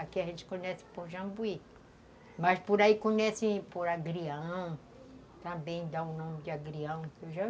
Aqui a gente conhece por jambuí, mas por aí conhece por agrião, também dá o nome de agrião, entendeu?